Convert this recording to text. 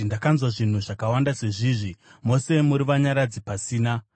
“Ndakanzwa zvinhu zvakawanda sezvizvi; mose muri vanyaradzi pasina!